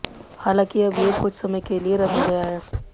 हालांकि अब ये कुछ समय के लिए रद्द हो गया है